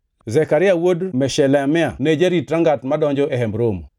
Zekaria wuod Meshelemia ne jarit rangach madonjo e Hemb Romo.